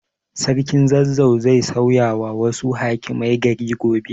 Sarkin Zazzau zai sauyawa wasu hakimai gari gobe.